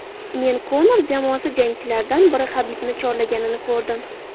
Men Konor jamoasi jangchilaridan biri Habibni chorlaganini ko‘rdim.